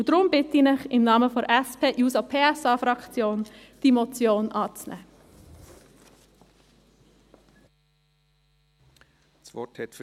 Deshalb bitte ich Sie im Namen der SP-JUSO-PSA-Fraktion, diese Motion anzunehmen.